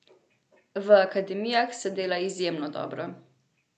V akademijah se dela izjemno dobro.